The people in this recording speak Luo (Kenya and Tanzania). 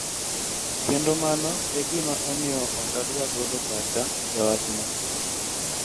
kendo mano egima omiyo okadwa golo pacha e wachno